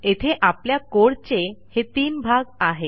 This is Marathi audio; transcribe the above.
येथे आपल्या कोड चे हे तीन भाग आहेत